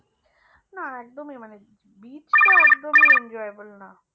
না একদমই মানে beach টা একদমই enjoyable না